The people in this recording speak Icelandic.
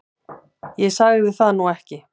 Ég sagði það nú ekki